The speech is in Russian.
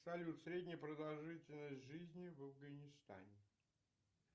салют средняя продолжительность жизни в афганистане